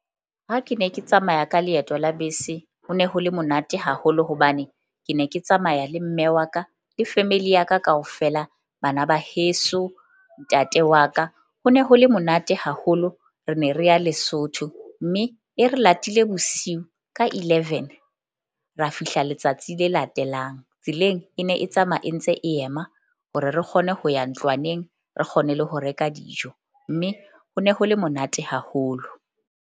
Ha ke ne ke tsamaya ka leeto la bese, ho ne ho le monate haholo hobane ke ne ke tsamaya le mme wa ka le family ya ka kaofela, bana ba heso, ntate wa ka ho ne ho le monate haholo. Re ne re ya Lesotho mme e re latile bosiu ka eleven, ra fihla letsatsi le latelang. Tseleng e ne e tsamaya e ntse e ema hore re kgone ho ya ntlwaneng, re kgone le ho reka dijo mme ho ne ho le monate haholo.